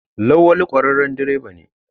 Lawali kwararren direba ne.